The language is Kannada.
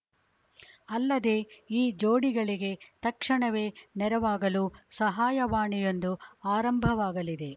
ಅಲ್ಲದೇ ಈ ಜೋಡಿಗಳಿಗೆ ತಕ್ಷಣವೇ ನೆರವಾಗಲು ಸಹಾಯವಾಣಿಯೊಂದು ಆರಂಭವಾಗಲಿದೆ